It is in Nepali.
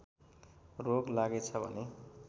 रोग लागेछ भने